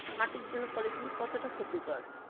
মাটির জন্য polythene কত টা ক্ষতিকর